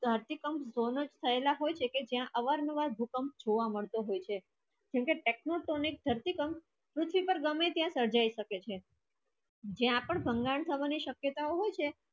ત્યાંથી પણ દોનો થયેલા હોય શકે જે અવરનું ભૂકંપ જોવા મળશે છે તને tectonic ધરતી કંપ પૃત્વી પર સાંજે ગમે શકે છે જ્યાં પણ શક્યતા હોય છે